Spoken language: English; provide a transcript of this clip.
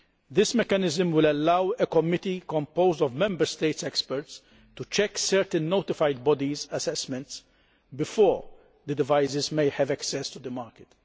This mechanism will allow a committee composed of Member States' experts to check certain notified bodies' assessments before the devices can have access to the market.